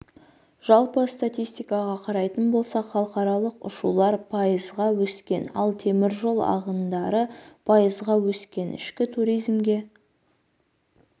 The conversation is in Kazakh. жалпы статистикаға қарайтын болсақ халықаралық ұшулар пайызға өскен ал темір жол ағындары пайызға өскен ішкі туризмге